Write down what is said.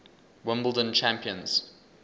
wimbledon champions